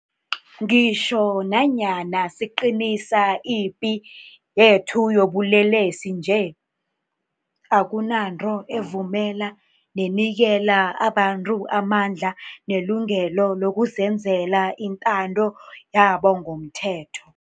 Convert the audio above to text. Ngitjho nanyana siqinisa ipi yethu yobulelesi nje, akunanto evumela nenikela abantu amandla nelungelo lokuzenzela intando yabo ngomthetho.